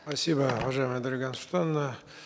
спасибо уважаемая дарига нурсултановна